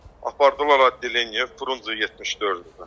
Apardılar adeleniyə, Frunze 74-ə.